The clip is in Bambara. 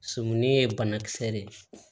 Sɔmi ye banakisɛ de ye